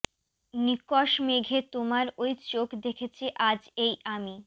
নিকষ মেঘে তোমার ঐ চোখ দেখেছি আজ এই আমি